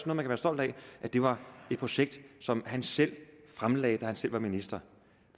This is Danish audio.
man kan være stolt af var et projekt som han selv fremlagde da han selv var minister